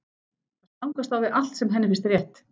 Það stangast á við allt sem henni finnst rétt.